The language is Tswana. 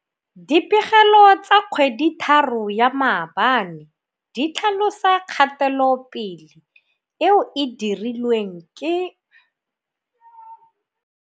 Dipegelo tsa kgweditharo ya maabane di tlhalosa kgatelopele eo e dirilweng ke.